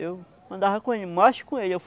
Eu andava com ele, mais com ele.